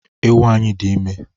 Ewu anyị dị ime